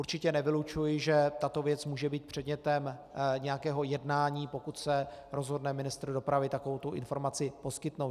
Určitě nevylučuji, že tato věc může být předmětem nějakého jednání, pokud se rozhodne ministr dopravy takovouto informaci poskytnout.